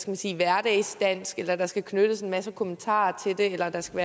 man sige hverdagsdansk eller at der skal knyttes en masse kommentarer til det eller at der skal